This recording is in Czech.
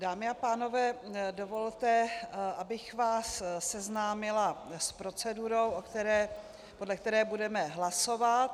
Dámy a pánové, dovolte, abych vás seznámila s procedurou, podle které budeme hlasovat.